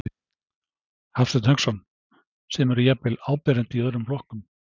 Hafsteinn Hauksson: Sem eru jafnvel áberandi í öðrum flokkum?